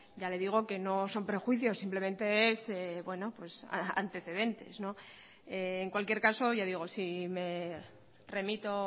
ya le digo que no son prejuicios simplemente es pues antecedente en cualquier caso ya digo si me remito